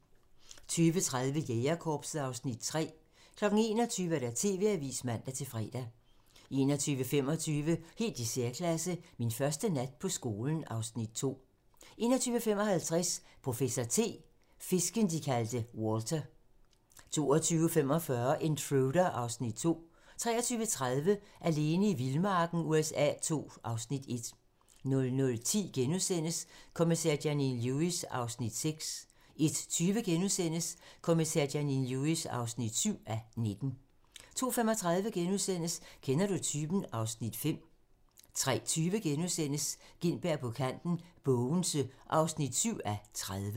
20:30: Jægerkorpset (Afs. 3) 21:00: TV-avisen (man-fre) 21:25: Helt i særklasse - Min første nat på skolen (Afs. 2) 21:55: Professor T: Fisken, de kaldte Walter 22:45: Intruder (Afs. 2) 23:30: Alene i vildmarken USA II (Afs. 1) 00:10: Kommissær Janine Lewis (6:19)* 01:20: Kommissær Janine Lewis (7:19)* 02:35: Kender du typen? (Afs. 5)* 03:20: Gintberg på kanten - Bogense (7:30)*